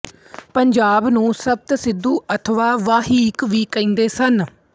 ਪੰਜਾਬ ਨੂੰ ਸਪਤਸਿੰਧੂ ਅਥਵਾ ਵਾਹੀਕ ਵੀ ਕਹਿੰਦੇ ਸਨ